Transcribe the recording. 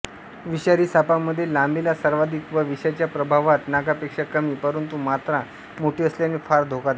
विषारी सापांमध्ये लांबीला सर्वाधिक व विषाच्या प्रभावात नागापेक्षा कमी परंतू मात्रा मोठी असल्याने फार धोकादायक